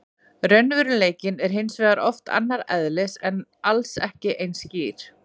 Raunveruleikinn er hins vegar oft annars eðlis og alls ekki eins skýr.